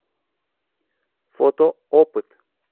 фото опыт